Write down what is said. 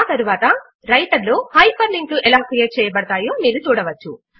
ఆ తరువాత రైటర్ లో హైపర్ లింక్ లు ఎలా క్రియేట్ చేయబడతాయో మీరు చూడవచ్చు